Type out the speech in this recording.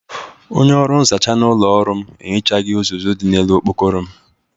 Onye ọrụ nzacha n'ụlọ ọrụ m ehichaghi ụzụzu dị n'ele okpokoro m.